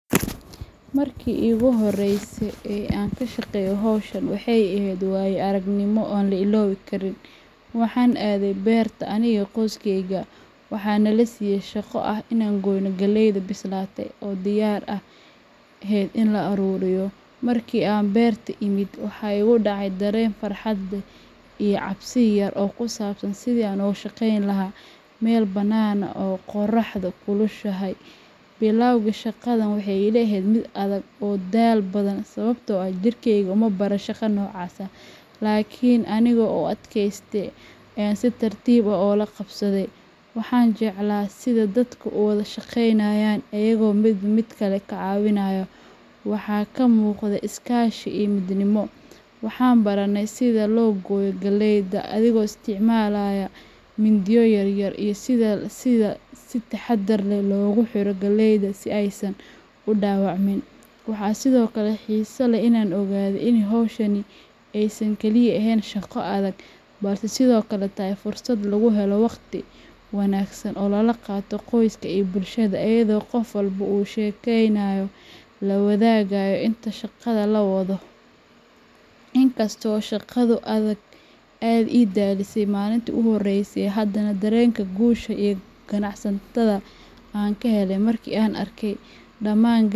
Markii ugu horreysay ee aan ka shaqeeyo hawshan, waxay ahayd waayo aragnimo aan la ilaawi karin. Waxaan aaday beerta aniga iyo qoyskeyga, waxaana nala siiyay shaqo ah in aan goyno galleyda bislaatay oo diyaar u ahayd in la ururiyo. Markii aan beerta imid, waxa igu dhacay dareen farxad leh iyo cabsi yar oo ku saabsan sidii aan ugu shaqayn lahaa meel banaan oo qoraxdu kulushahay. Bilowgii, shaqadu waxay ila ahayd mid adag oo daal badan sababtoo ah jirkeyga uma baran shaqo noocaas ah, laakiin anigoo u adkaystay ayaan si tartiib ah ula qabsaday. Waan jeclaa sida dadku u wada shaqeynayeen iyagoo midba midka kale caawinaya, waxa ka muuqday iskaashi iyo midnimo. Waxaan baranay sida loo gooyo galleyda adigoo isticmaalaya mindiyo yaryar, iyo sida si taxaddar leh loogu xiro galleyda si aysan u dhaawacmin. Waxaa sidoo kale xiiso leh inaan ogaaday in hawshani aysan kaliya ahayn shaqo adag, balse sidoo kale tahay fursad lagu helo wakhti wanaagsan oo lala qaato qoyska iyo bulshada, iyadoo qof walba uu sheekooyin la wadaagayo inta shaqada la wada wado. Inkasta oo shaqadu aad ii daalisay maalintii ugu horreysay, haddana dareenka guusha iyo qanacsanaanta aan ka helay markii aan arkay dhamaan.